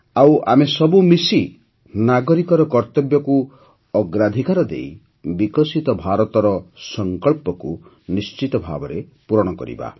ଆଉ ଆମେ ସବୁ ମିଶି ନାଗରିକର କର୍ତ୍ତବ୍ୟକୁ ଅଗ୍ରାଧିକାର ଦେଇ ବିକଶିତ ଭାରତର ସଂକଳ୍ପକୁ ନିଶ୍ଚିତ ଭାବେ ପୂରଣ କରିବା